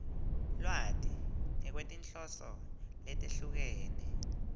lwati ngekwetinhloso letehlukene